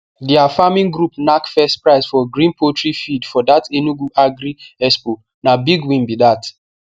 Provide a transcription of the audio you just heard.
their farming group knack first prize for green poultry feed for that enugu agri expo na big win be that